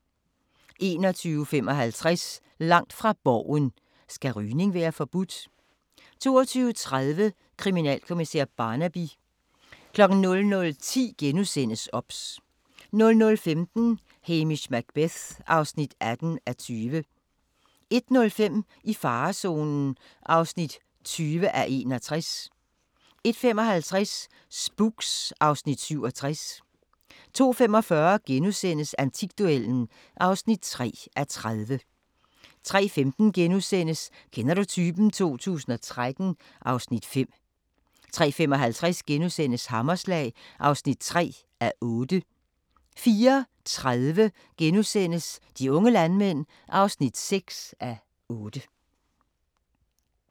21:55: Langt fra Borgen: Skal rygning være forbudt? 22:30: Kriminalkommissær Barnaby 00:10: OBS * 00:15: Hamish Macbeth (18:20) 01:05: I farezonen (20:61) 01:55: Spooks (Afs. 67) 02:45: Antikduellen (3:30)* 03:15: Kender du typen? 2013 (Afs. 5)* 03:55: Hammerslag (3:8)* 04:30: De unge landmænd (6:8)*